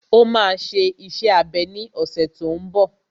Ó máa ṣe iṣẹ́ abẹ ní ọ̀sẹ̀ tó n bọ̀